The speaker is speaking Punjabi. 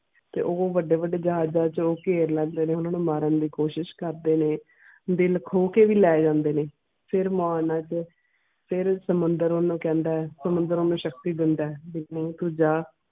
ਤੇ ਉਹ ਵੱਡੇ ਵੱਡੇ ਜਹਾਜਾਂ ਚ ਘੇਰ ਲੈਂਦੇ ਨੇ ਉਹਨਾਂ ਨੂੰ ਮਾਰਨ ਦੀ ਕੋਸ਼ਿਸ਼ ਕਰਦੇ ਨੇ ਦਿਲ ਖੋ ਕੇ ਵੀ ਲੈ ਜਾਂਦੇ ਨੇ ਫੇਰ ਮਾਨ ਦੇ ਫੇਰ ਸਮੁੰਦਰ ਓਹਨੂੰ ਕਹਿੰਦਾ ਐ ਸਮੁੰਦਰ ਓਹਨੂੰ ਸ਼ਕਤੀ ਦਿੰਦਾ ਹੈ ਵੀ ਨਹੀਂ ਤੂੰ ਜਾ